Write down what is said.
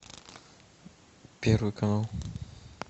первый канал